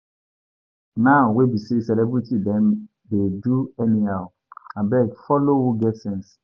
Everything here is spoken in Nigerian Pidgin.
Now wey be sey celebrity dem dey do anyhow, abeg follow who get sense.